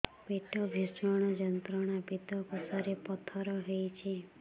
ପେଟ ଭୀଷଣ ଯନ୍ତ୍ରଣା ପିତକୋଷ ରେ ପଥର ହେଇଚି